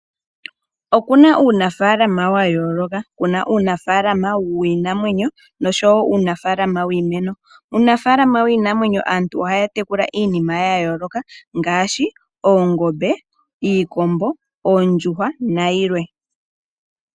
Okuna uunafaalama wa yooloka. Kuna uunafaalama wiinamwenyo noshowo uunafaalama wiimeno. Uunafaalama wiinamwenyo aantu ohaya tekula iimuna ya yooloka ngaashi oongombe, iikombo, oondjuhwa nayilwe.